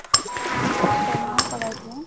training ও কৰাই দিও